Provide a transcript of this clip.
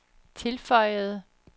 tilføjede